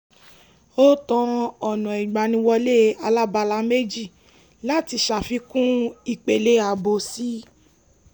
ó tan ọ̀nà ìgbàniwọlé alábala méjì láti ṣàfikún ìpele ààbò si